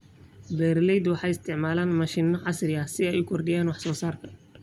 Beeraleydu waxay isticmaalaan mashiino casri ah si ay u kordhiyaan wax soo saarka.